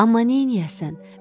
Amma neyləyəsən?